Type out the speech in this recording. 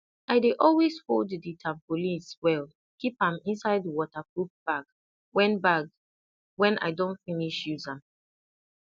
i dey always fold di tarpaulins well keep am inside waterproof bag when bag when i don finish use am